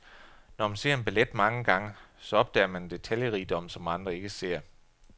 Når man ser en ballet mange gange, så opdager man en detaljerigdom, som andre ikke ser.